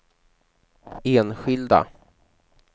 enskilda